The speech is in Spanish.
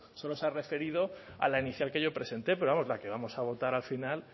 solo se ha referido a la inicial que yo presenté pero vamos la que vamos a votar al final